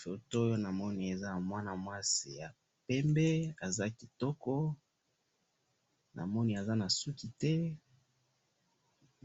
photo oyo namoni eza ya mwana mwasi ya pembe aza kitoko aza na souki te